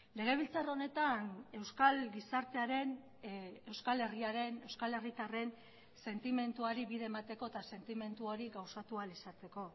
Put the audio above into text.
legebiltzar honetan euskal gizartearen euskal herriaren euskal herritarren sentimenduari bide emateko eta sentimendu hori gauzatu ahal izateko